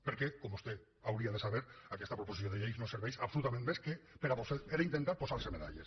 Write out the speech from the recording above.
perquè com vostè hauria de saber aquesta proposició de llei no serveix per absolutament res més que per intentar posar se medalles